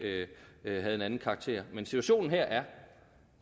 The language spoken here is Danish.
havde en anden karakter men situationen her er